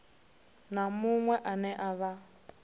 na muṅwe ane a vha